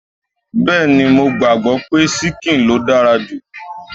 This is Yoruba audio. Bẹẹni, mo gbàgbọ́ pé ṣíkìn ló dára jù